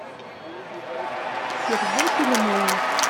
сергей филимонов